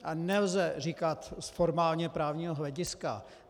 A nelze říkat z formálně právního hlediska.